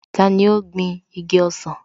Tani ó gbin igi ọsàn?